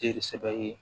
Jeli sɛbɛ ye